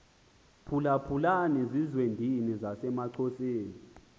phulaphulani zizwendini zasemaxhoseni